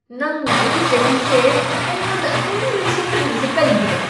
ꯅꯪꯅ ꯑꯩꯒꯤ ꯆꯍꯤꯁꯦ ꯑꯩꯉꯣꯟꯗ ꯑꯗꯨꯝ ꯅꯤꯡꯁꯤꯡꯍꯜꯂꯤꯁꯦ ꯀꯩꯒꯤꯅꯣ?